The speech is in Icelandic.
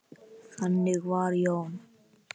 Þannig var Jón.